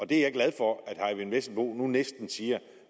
det er jeg glad for at herre eyvind vesselbo nu næsten siger